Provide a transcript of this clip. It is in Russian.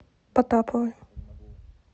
потаповой